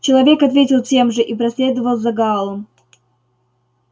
человек ответил тем же и проследовал за гаалом